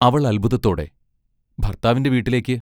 അവൾ അത്ഭുതത്തോടെ ഭർത്താവിന്റെ വീട്ടിലേക്ക്.